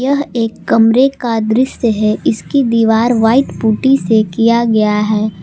यह एक कमरे का दृश्य है इसकी दीवार व्हाइट पुट्टी से किया गया है।